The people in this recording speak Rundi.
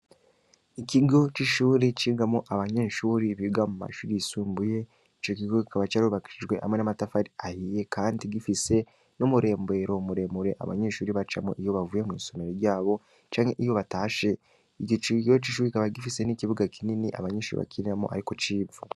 Abanyeshure biga mumashure y'isumbuye icokigo kikaba cubakishije amatafari ahiye kikaba gifise numuromberero muremure abanyeshure bacamwo iyo baciye mw'isomero ryabo iryoshure rikaba rifise ikibuga kinini abanyeshure bakiniramwo